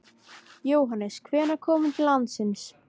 Jóhannes: Hvenær kom hún til landsins?